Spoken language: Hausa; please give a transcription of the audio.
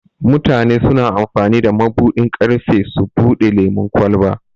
Mutane suna amfani da mabuɗin ƙarfe su bude lemun ƙwalba.